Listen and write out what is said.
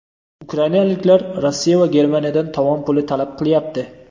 Ukrainaliklar Rossiya va Germaniyadan tovon puli talab qilyapti.